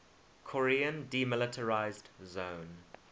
korean demilitarized zone